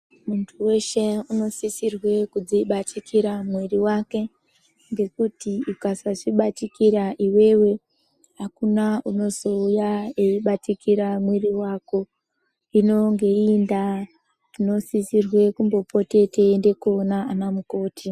Mundu weshe unosisirwe kudzibatikire muiri wake ngekuti ukasazvibatikira iwewe akuna unozouya eibatikira muiri wake. Inonge iri ndaa unosisirwe kumbopote yeinda kunoona anamukoti.